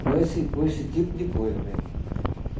Com esse com esse tipo de coisa meu irmão.